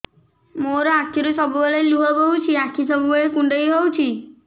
ମୋର ଆଖିରୁ ସବୁବେଳେ ଲୁହ ବୋହୁଛି ଆଖି ସବୁବେଳେ କୁଣ୍ଡେଇ ହଉଚି